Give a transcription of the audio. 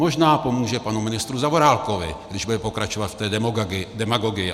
Možná pomůže panu ministru Zaorálkovi, když bude pokračovat v té demagogii.